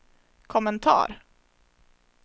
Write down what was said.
kommentar